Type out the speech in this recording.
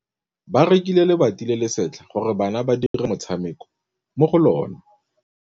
Ba rekile lebati le le setlha gore bana ba dire motshameko mo go lona.